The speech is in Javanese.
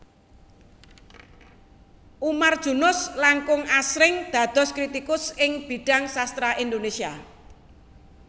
Umar Junus langkung asring dados kritikus ing bidhang sastra Indonesia